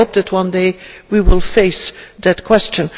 I hope that one day we will face that question.